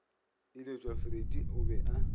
iletšwa freddie o be a